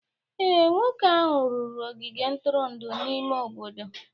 Ee, nwoke ahụ rụrụ ogige ntụrụndụ n'ime obodo